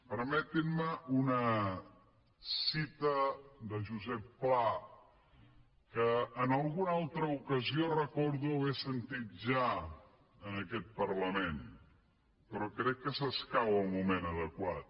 permetin me una cita de josep pla que en alguna altra ocasió recordo haver sentit ja en aquest parlament però que s’escau al moment adequat